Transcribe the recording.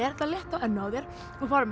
þetta létt á ennið á þér og fara með